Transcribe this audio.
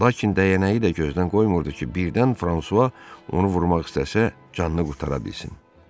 Lakin dəyənəyi də gözdən qoymurdu ki, birdən Fransua onu vurmaq istəsə canını qurtara bilsin.